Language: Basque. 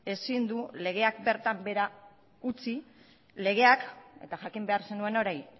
ezin duela legeak bertan behera utzi legeak eta jakin behar zenuen hori